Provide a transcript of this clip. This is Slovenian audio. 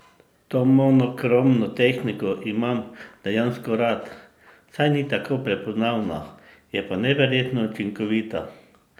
To monokromno tehniko imam dejansko rad, saj ni tako prepoznavna, je pa neverjetno učinkovita!